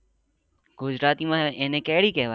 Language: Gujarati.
ગુજરાતી માં એને કેરી કેવાય.